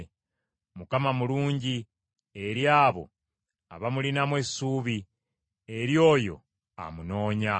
Mukama mulungi eri abo abamulinamu essuubi, eri oyo amunoonya.